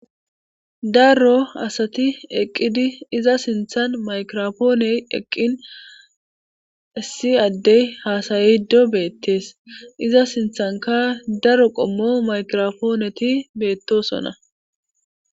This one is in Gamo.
Daro asati eqqidi iza sinthan maykirofooney eqqin issi addey haasaydo beettees, iza sinthanka daro qommo maykirofooneti beettosonna.